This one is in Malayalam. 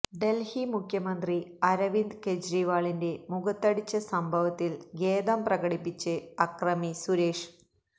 ഡൽഹി മുഖ്യമന്ത്രി അരവിന്ദ് കെജ്രിവാളിന്റെ മുഖത്തടിച്ച സംഭവത്തിൽ ഖേദം പ്രകടിപ്പിച്ച് അക്രമി സുരേഷ്